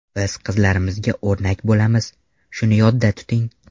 Biz qizlarimizga o‘rnak bo‘lamiz, shuni yodda tuting.